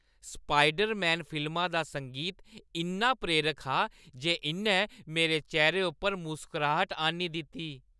Spiderman फिल्मा दा संगीत इन्ना प्रेरक हा जे इʼन्नै मेरे चेह्‌रे उप्पर मुस्कराह्‌ट आह्‌न्नी दित्ती।